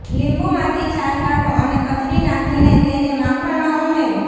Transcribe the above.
લીંબુમાંથી છાલ કાઢો અને કચડી નાખીને તેને માખણમાં ઉમેરો